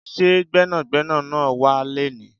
Ṣé Gbẹ́nàgbẹ́nà náà wá léni?